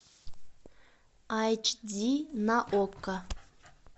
айч ди на окко